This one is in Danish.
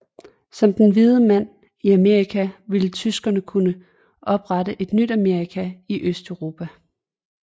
Som den hvide mand i Amerika ville tyskerne kunne oprette et nyt Amerika i Østeuropa